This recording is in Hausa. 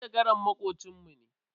Manjagaran makocin mu ne.